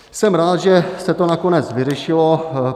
Jsem rád, že se to nakonec vyřešilo.